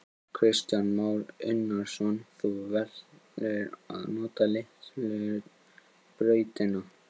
Kristján Már Unnarsson: Þú velur að nota litlu brautina?